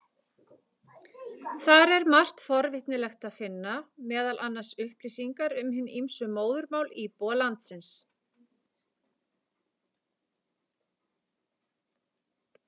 Þar er margt forvitnilegt að finna, meðal annars upplýsingar um hin ýmsu móðurmál íbúa landsins.